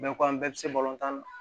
Bɛɛ ko an bɛɛ bɛ se tan na